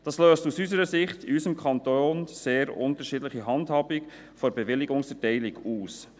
Dies löst aus unserer Sicht in unserem Kanton eine sehr unterschiedliche Handhabung der Bewilligungserteilung aus.